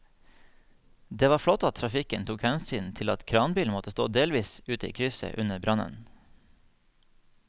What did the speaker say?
Det var flott at trafikken tok hensyn til at kranbilen måtte stå delvis ute i krysset under brannen.